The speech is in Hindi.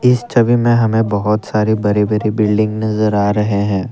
इस छवि में हमे बहुत सारे बड़े बड़े बिल्डिंग नजर आ रहे हैं।